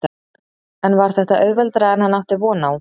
En var þetta auðveldara en hann átti von á?